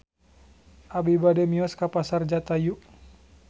Abi bade mios ka Pasar Jatayu